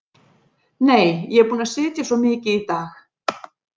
Nei, ég er búin að sitja svo mikið í dag.